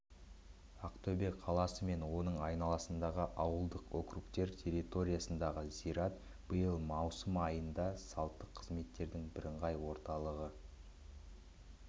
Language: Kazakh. ақтөбе қаласы мен оның айналасындағы ауылдық округтер территориясындағы зират биыл маусым айында салттық қызметтердің бірыңғай орталығы